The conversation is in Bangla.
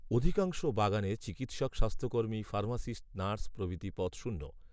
অধিকাংশ বাগানে চিকিৎসক স্বাস্থ্যকর্মী ফার্মাসিস্ট নার্স প্রভৃতি পদ শূন্য